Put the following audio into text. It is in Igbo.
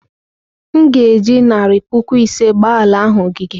M ga-eji narị puku ise gbaa ala ahụ ogige.